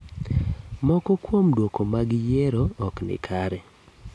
Moko kuom duoko mag yiero ok ni kare.